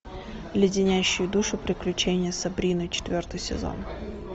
леденящие душу приключения сабрины четвертый сезон